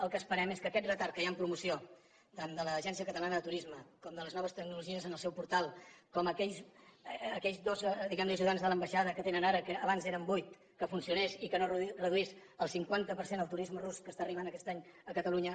el que esperem és que aquest retard que hi ha en promoció tant de l’agència catalana de turisme com de les noves tecnologies en el seu portal com aquells dos diguem ne ajudants de l’ambaixada que tenen ara que abans eren vuit que funcionés i que no es reduís al cinquanta per cent el turisme rus que està arribant aquest any a catalunya